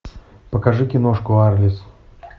покажи киношку арлисс